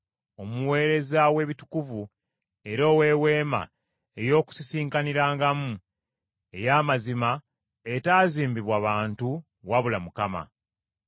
omuweereza w’ebitukuvu, era ow’eweema ey’Okukuŋŋaanirangamu ey’amazima, etaazimbibwa bantu wabula Mukama.